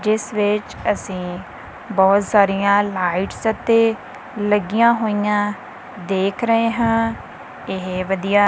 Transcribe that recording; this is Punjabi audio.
ਜਿਸ ਵਿਚ ਅਸੀਂ ਬਹੁਤ ਸਾਰੀਆਂ ਲਾਈਟਸ ਅਤੇ ਲਗਿਆ ਹੋਇਆਂ ਦੇਖ ਰਹੇ ਹਾਂ ਇਹ ਵਧੀਆ--